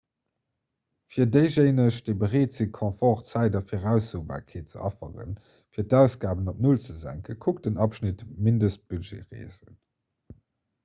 fir déijéineg déi bereet sinn confort zäit a viraussobarkeet ze afferen fir d'ausgaben op null ze senken kuckt den abschnitt mindestbudgetreesen